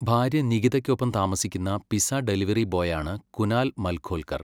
ഭാര്യ നികിതയ്ക്കൊപ്പം താമസിക്കുന്ന പിസ്സ ഡെലിവറി ബോയ് ആണ് കുനാൽ മൽഖോൽക്കർ.